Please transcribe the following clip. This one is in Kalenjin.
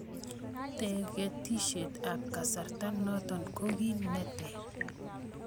Tiketisiek ab kasarta noto ko kit ne ter.